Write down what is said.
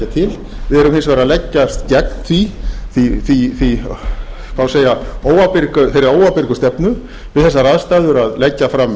við erum hins vegar að leggjast gegn þeirri óábyrgu stefnu við þessar aðstæður að leggja fram